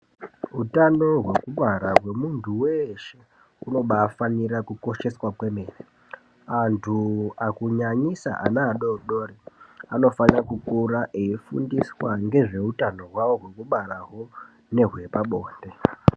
Utano hwekubara hwemuntu weshe hunofanira kukosheswa kwemene antu kunyanyisa ana adodori anofanira kukura veifundiswa nezveutano hwavo hwekubara nehwe pabonde.